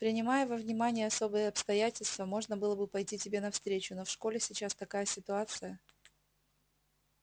принимая во внимание особые обстоятельства можно было бы пойти тебе навстречу но в школе сейчас такая ситуация